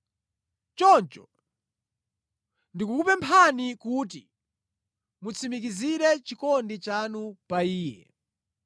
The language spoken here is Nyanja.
Choncho ndikukupemphani kuti mutsimikizire chikondi chanu pa iye.